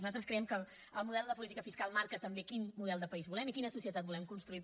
nosaltres creiem que el model de política fiscal marca també quin model de país volem i quina societat volem construir